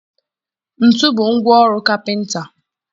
Ntu bụ ngwa ọrụ kapịnta.